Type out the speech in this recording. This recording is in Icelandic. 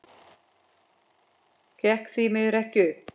Gekk því miður ekki upp.